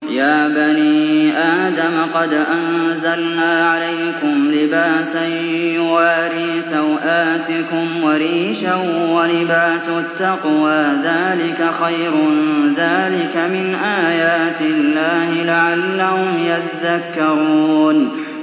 يَا بَنِي آدَمَ قَدْ أَنزَلْنَا عَلَيْكُمْ لِبَاسًا يُوَارِي سَوْآتِكُمْ وَرِيشًا ۖ وَلِبَاسُ التَّقْوَىٰ ذَٰلِكَ خَيْرٌ ۚ ذَٰلِكَ مِنْ آيَاتِ اللَّهِ لَعَلَّهُمْ يَذَّكَّرُونَ